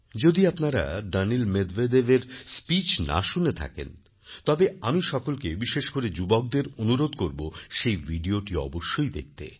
যদি আপনারা দানিল মেদভেদেভএর স্পিচ না শুনে থাকেন তবে আমি সকলকে বিশেষ করে যুবকদের অনুরোধকরব সেই ভিডিওটি অবশ্যই দেখতে